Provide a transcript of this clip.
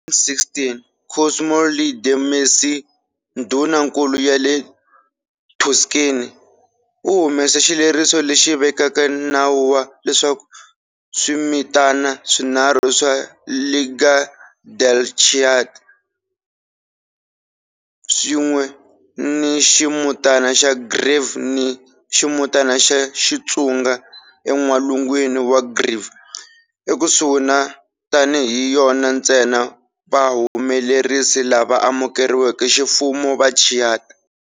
Hi 1716 Cosimo III de' Medici, Ndhunankulu ya le Tuscany, u humese xileriso lexi vekaka nawu wa leswaku swimitana swinharhu swa "Lega del Chianti" swin'we ni ximutana xa Greve ni ximutana xa ya xitsunga en'walungwini wa Greve ekusuhi na tani hi yona ntsena vahumelerisi lava amukeriweke ximfumo va Chianti.